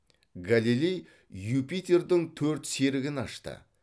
галилей юпитердің төрт серігін ашты